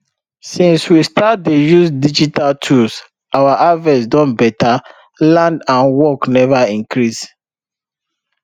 since we start dey use digital tools our harvest don better land and work never increase